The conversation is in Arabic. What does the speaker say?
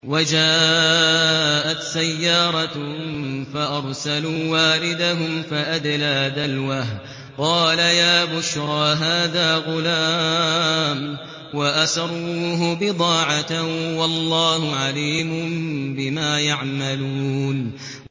وَجَاءَتْ سَيَّارَةٌ فَأَرْسَلُوا وَارِدَهُمْ فَأَدْلَىٰ دَلْوَهُ ۖ قَالَ يَا بُشْرَىٰ هَٰذَا غُلَامٌ ۚ وَأَسَرُّوهُ بِضَاعَةً ۚ وَاللَّهُ عَلِيمٌ بِمَا يَعْمَلُونَ